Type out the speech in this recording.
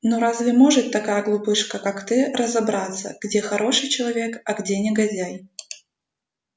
ну разве может такая глупышка как ты разобраться где хороший человек а где негодяй